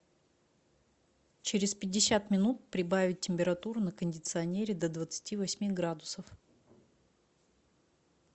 через пятьдесят минут прибавить температуру на кондиционере до двадцати восьми градусов